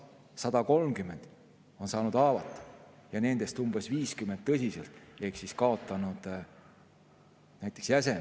130 said haavata ja nendest umbes 50 tõsiselt ehk nad kaotasid näiteks jäseme.